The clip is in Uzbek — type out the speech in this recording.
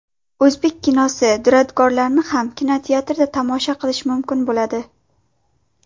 O‘zbek kinosi durdonalarini ham kinoteatrda tomosha qilish mumkin bo‘ladi.